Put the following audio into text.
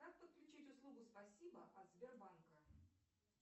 как подключить услугу спасибо от сбербанка